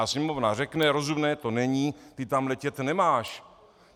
A Sněmovna řekne: rozumné to není, ty tam letět nemáš.